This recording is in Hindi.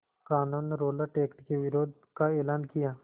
क़ानून रौलट एक्ट के विरोध का एलान किया